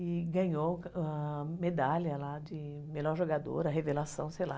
E ganhou a medalha lá de melhor jogadora, a revelação, sei lá.